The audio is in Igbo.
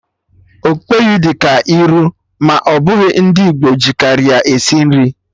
Okpeyi dị ka iru, ma ọ bụ ndị Igbo ji karị ya esi nri